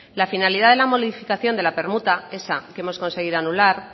la finalidad de la modificación de la permuta esa que hemos conseguido anular